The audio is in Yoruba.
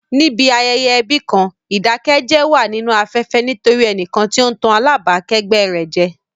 Níbi ayẹyẹ ẹbí kan, ìdákẹ́jẹ́ wà nínú afẹ́fẹ́ nítorí ẹnìkan tí ó ń tàn alábàákẹ́gbẹ́ rẹ̀ jẹ.